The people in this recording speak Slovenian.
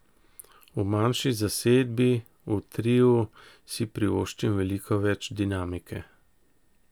V manjši zasedbi, v triu, si privoščim veliko več dinamike.